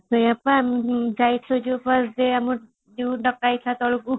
ସେଇୟା ବା ଯାଇଥିଲେ ଯୋଉ ତଳକୁ |